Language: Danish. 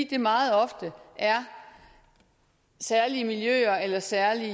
det er meget ofte særlige miljøer eller særlige